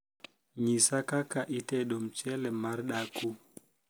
nyisa kaka itedo mchele mar daku